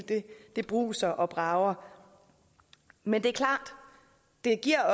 bruser og brager men det er